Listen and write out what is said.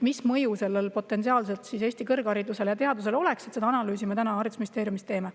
Mis mõju sellel potentsiaalselt Eesti kõrgharidusele ja teadusele oleks, seda analüüsi me täna haridusministeeriumis teeme.